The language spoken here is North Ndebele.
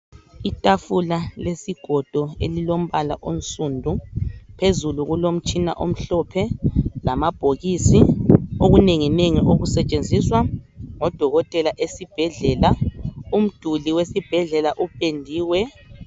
Itafula lesigodo elilombala onsundu phezulu kulomtshina omhlophe lamabhokisi okunengi ngengi okusetshenziswa ngodokotela esibhedlela umduli wesibhedlela upendiwe